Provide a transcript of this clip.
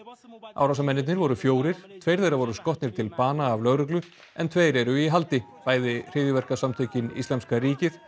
árásarmennirnir voru fjórir tveir þeirra voru skotnir til bana af lögreglu en tveir eru í haldi bæði hryðjuverkasamtökin Íslamska ríkið